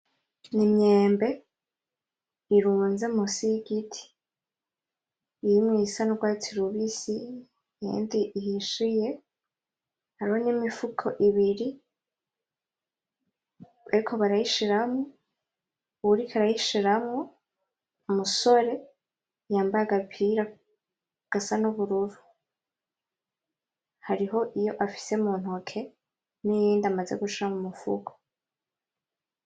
N'Imyembe irunze munsi y'igiti irimwo iyisa n'Ugwatsi rubisi iyindi ihishiye, hariho n'Imifuko ibiri bariko barayishiramwo, uwuriko arayishiramwo n'umusore yambaye agapira gasa nubururu, hariho iyo afise muntoke n'iyindi amaze gushika mumufuko.